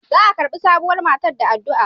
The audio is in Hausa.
Za a karbi sabuwar matar da addu'a.